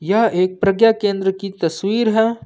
यह एक प्रज्ञा केंद्र की तस्वीर है।